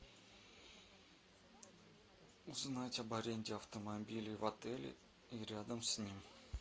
узнать об аренде автомобиля в отеле и рядом с ним